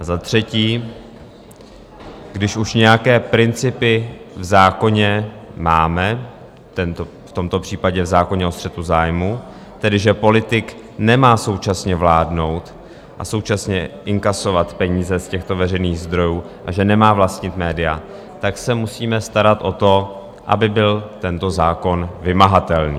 A za třetí, když už nějaké principy v zákoně máme, v tomto případě v zákoně o střetu zájmů, tedy že politik nemá současně vládnout a současně inkasovat peníze z těchto veřejných zdrojů a že nemá vlastnit média, tak se musíme starat o to, aby byl tento zákon vymahatelný.